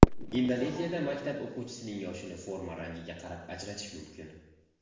Indoneziyada maktab o‘quvchisining yoshini forma rangiga qarab ajratish mumkin.